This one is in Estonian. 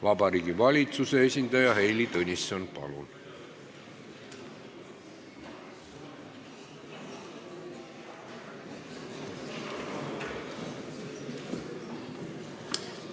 Vabariigi Valitsuse esindaja Heili Tõnisson, palun!